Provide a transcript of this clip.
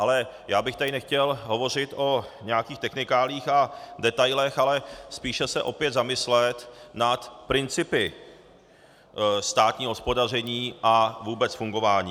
Ale já bych tady nechtěl hovořit o nějakých technikáliích a detailech, ale spíše se opět zamyslet nad principy státního hospodaření a vůbec fungování.